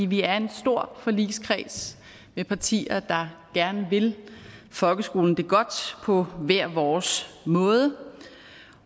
vi er en stor forligskreds med partier der gerne vil folkeskolen det godt på hver vores måde